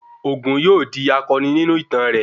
Ògún yóò di akọni nínú ìtàn rẹ